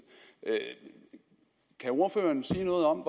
kan ordføreren sige noget om